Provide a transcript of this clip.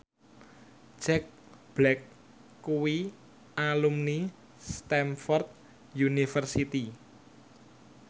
Jack Black kuwi alumni Stamford University